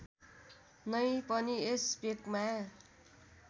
नै पनि यस भेकमा